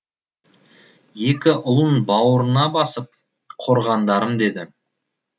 екі ұлын бауырына басып қорғандарым деді